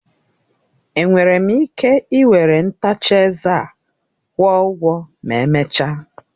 Enwere m ike ị were ntacha eze a kwụọ ụgwọ ma emechaa.